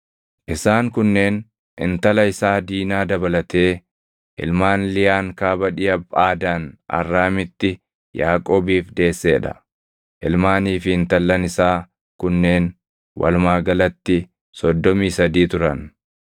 Isaan kunneen intala isaa Diinaa dabalatee ilmaan Liyaan kaaba dhiʼa Phaadaan Arraamitti Yaaqoobiif deessee dha. Ilmaanii fi intallan isaa kunneen walumaa galatti soddomii sadii turan.